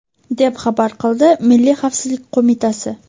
deb xabar qildi Milliy xavfsizlik qo‘mitasi.